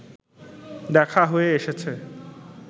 দেখা হয়ে এসেছে